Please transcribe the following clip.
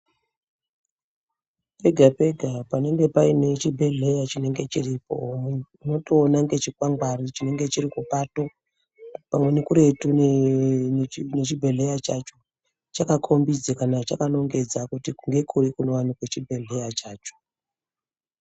Pega pega panenge Paine chibhedhleya chinenge chiripo munthu unotoona ngechikwangwari chinenge chiripo chirikupato, pamweni kuretu nechibhedhleya chacho chakakhombidza kana chakanongedza kuti ngekuri kunowanikwa chibhedhleya chacho.